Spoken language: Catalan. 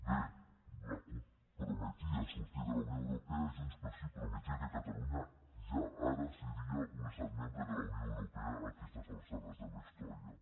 bé la cup prometia sortir de la unió europea i junts pel sí prometia que catalunya ja ara seria un estat membre de la unió europea a aquestes alçades de la història